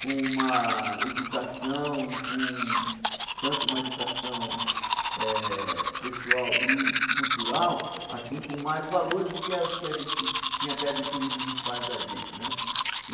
com uma educação e com tanto uma educação eh pessoal e cultural, assim com mais valores do que as que a gente tinha até adquirido dos pais da gente né.